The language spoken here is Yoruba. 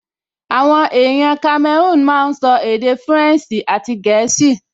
Àwọn èèyàn kamẹrúùn máa n sọ èdè fúrẹ̀nsì àti gẹ̀ẹ́sì